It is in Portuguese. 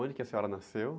Onde que a senhora nasceu?